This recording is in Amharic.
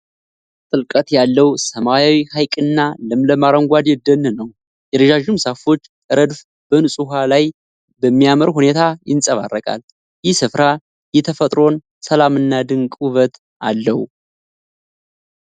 ጥልቀት ያለው ሰማያዊ ሐይቅና ለምለም አረንጓዴ ደን ነው ። የረዣዥም ዛፎች ረድፍ በንጹህ ውኃው ላይ በሚያምር ሁኔታ ይንጸባረቃል። ይህ ስፍራ የተፈጥሮን ሰላምና ድንቅ ውበት አለው።